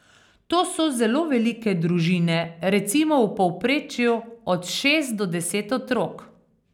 To so zelo velike družine, recimo v povprečju od šest do deset otrok.